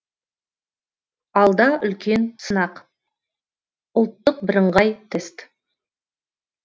алда үлкен сынақ ұлттық бірыңғай тест